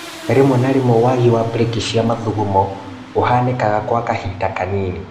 Rimwe na rimwe wagi wa brĩki cia mathugumo ũhanĩkaga gwa kahinda kanini